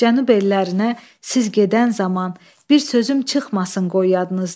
Cənub ellərinə siz gedən zaman, bir sözüm çıxmasın qoy yadınızdan.